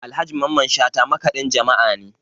Alhaji Mamman Shata makaɗin jama'a ne